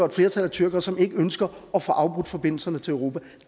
et flertal af tyrkere som ikke ønsker at få afbrudt forbindelserne til europa